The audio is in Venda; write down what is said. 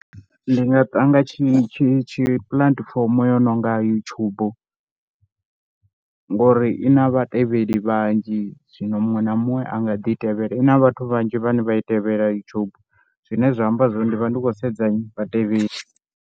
Ndi nga nanga tshi tshi puḽatifomo yo no nga YouTube ngori i na vhatevheli vhanzhi zwino muṅwe na muṅwe a nga ḓi i tevhela. I na vhathu vhanzhi vhane vha i tevhela YouTube zwine zwa amba zwo ri ndi vha ndi khou sedza vhatevheli.